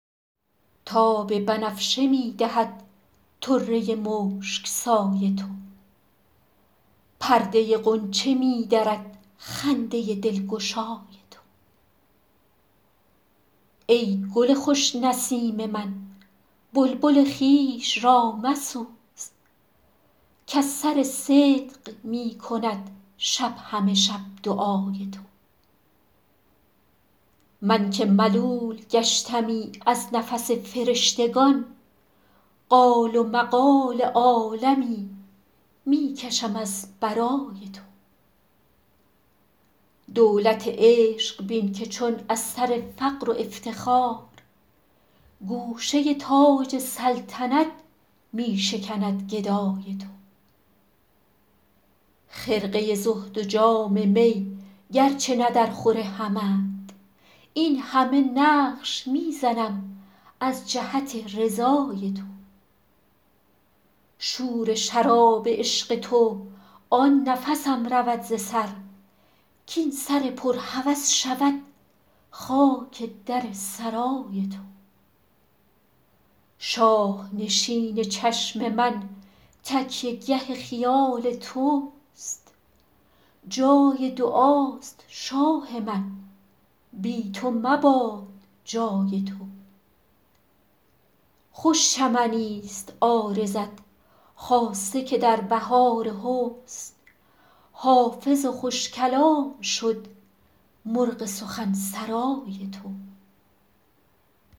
تاب بنفشه می دهد طره مشک سای تو پرده غنچه می درد خنده دلگشای تو ای گل خوش نسیم من بلبل خویش را مسوز کز سر صدق می کند شب همه شب دعای تو من که ملول گشتمی از نفس فرشتگان قال و مقال عالمی می کشم از برای تو دولت عشق بین که چون از سر فقر و افتخار گوشه تاج سلطنت می شکند گدای تو خرقه زهد و جام می گرچه نه درخور همند این همه نقش می زنم از جهت رضای تو شور شراب عشق تو آن نفسم رود ز سر کاین سر پر هوس شود خاک در سرای تو شاه نشین چشم من تکیه گه خیال توست جای دعاست شاه من بی تو مباد جای تو خوش چمنیست عارضت خاصه که در بهار حسن حافظ خوش کلام شد مرغ سخن سرای تو